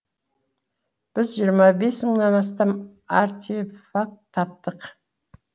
біз жиырма бес мыңнан астам артефакт таптық